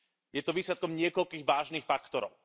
Je to výsledkom niekoľkých vážnych faktorov.